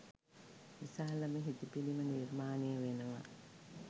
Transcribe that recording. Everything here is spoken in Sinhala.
විශාලම හිටි පිළිම නිර්මාණය වෙනවා.